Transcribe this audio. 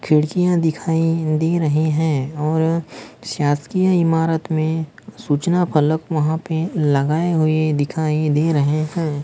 खिड़कियां दिखाई दे रहे हैं और शासकीय इमारत में सूचना फलक वहां पर लगाए हुए दिखाई दे रहे हैं।